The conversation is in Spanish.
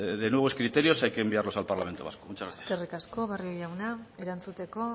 de nuevos criterios hay que enviarlos al parlamento vasco muchas gracias eskerrik asko barrio jauna erantzuteko